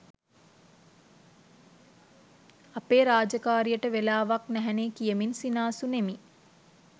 අපේ රාජකාරියට වෙලාවක්‌ නැහැනේ කියමින් සිනාසුනෙමි.